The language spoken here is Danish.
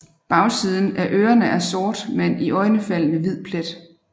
Bagsiden af ørerne er sort med en iøjnefaldende hvid plet